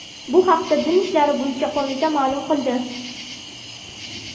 Bu haqda Din ishlari bo‘yicha qo‘mita ma’lum qildi .